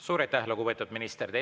Suur aitäh, lugupeetud minister!